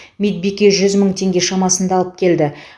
медбике жүз мың теңге шамасында алып келді